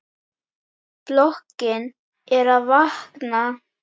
Blokkin er að vakna.